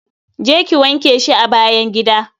Je ki wanke shi a bayn gida.